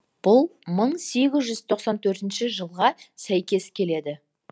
бұл мың сегіз жүз тоқсан төртінші жылға сәйкес келеді